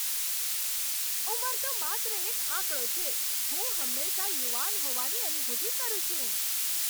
ઉંમર તો માત્ર એક આંકડો છે. હું હંમેશા યુવાન હોવાની અનુભૂતિ કરું છું.